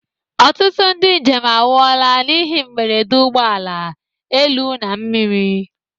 Ọtụtụ ndị njem anwụla n'ihe mberede ụgbọ ala, elu na mmiri.